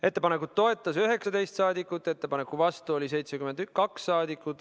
Ettepanekut toetas 19 saadikut, ettepaneku vastu oli 72 saadikut.